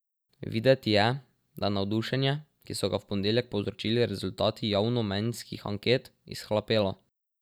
Videti je, da je navdušenje, ki so ga v ponedeljek povzročili rezultati javnomnenjskih anket, izhlapelo.